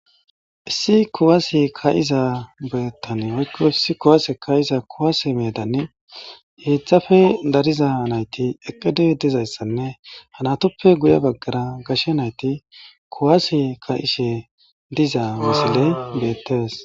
Issi kuwase kaza medan kuwase ka'ishe dizaysi hezape dariza nayti eqidi dizaysa ha natupe guye bagara gashe nayti kuwase ka'ishe diza missiley betetes